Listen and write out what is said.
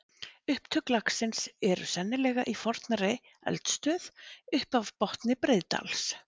Upptök lagsins eru sennilega í fornri eldstöð upp af botni Breiðdals.